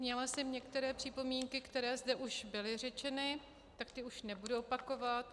Měla jsem některé připomínky, které zde už byly řečeny, tak ty už nebudu opakovat.